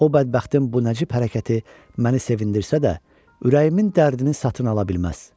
O bədbəxtin bu nəcib hərəkəti məni sevindirsə də, ürəyimin dərdini satın ala bilməz.